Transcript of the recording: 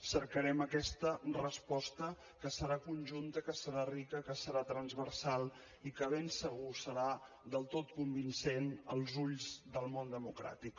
cercarem aquesta resposta que serà conjunta que serà rica que serà transversal i que ben segur serà del tot convincent als ulls del món democràtic